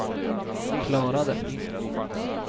klarade